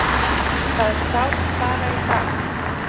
Það sást bara í dag.